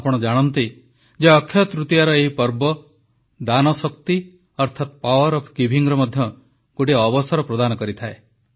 ଆପଣ ଜାଣନ୍ତି ଯେ ଅକ୍ଷୟ ତୃତୀୟାର ଏହି ପର୍ବ ଦାନ ଶକ୍ତି ଅର୍ଥାତ ପାୱାର ଅଫ୍ ଗିଭିଙ୍ଗର ମଧ୍ୟ ଗୋଟିଏ ଅବସର ହୋଇଥାଏ